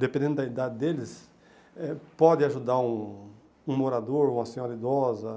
dependendo da idade deles, eh pode ajudar um um morador, uma senhora idosa,